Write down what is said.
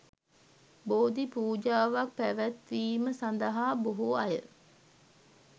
බෝධි පූජාවක් පැවැත්වීම සඳහා බොහෝ අය